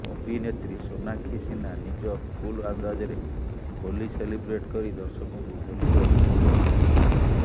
ଅଭିନେତ୍ରୀ ସୋନାକ୍ଷୀ ସିହ୍ନା ନିଜ କୁଲ ଅନ୍ଦାଜରେ ହୋଲି ସେଲିବ୍ରେଟ କରି ଦର୍ଶକଙ୍କୁ ହୋଲିର ଶୁଭକାମନା ଜଣାଇଛନ୍ତି